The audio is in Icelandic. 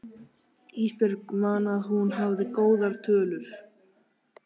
Ísbjörg man að hún hafði góðar tölur.